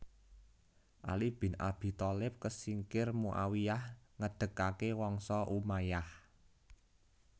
Ali bin Abi Thalib kesingkir Muawiyyah ngedegaké Wangsa Umayyah